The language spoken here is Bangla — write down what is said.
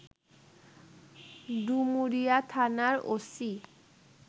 ডুমুরিয়া থানার ওসি